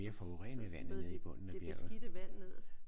Og så smed de det beskidte vand ned